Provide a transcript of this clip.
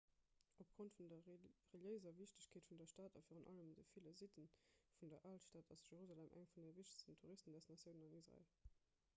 opgrond vun der reliéiser wichtegkeet vun der stad a virun allem de ville sitte vun der alstad ass jerusalem eng vun de wichtegsten touristendestinatiounen an israel